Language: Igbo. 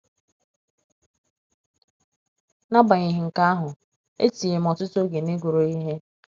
N’agbanyeghị nke ahụ, etinyere m ọtụtụ oge n’ịgụrụ ya ihe.